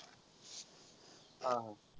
हा हा.